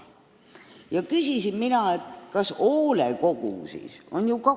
Mina küsisin, kas hoolekogust ei piisa.